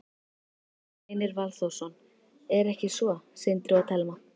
Gunnar Reynir Valþórsson: Er ekki svo, Sindri og Telma?